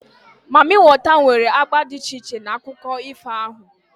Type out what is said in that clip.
Mamịwater nwere agba dị iche iche na akụkọ ifo ahụ